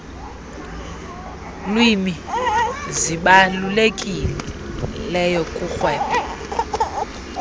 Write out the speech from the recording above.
lwimi zibalulekileyo kurhwebo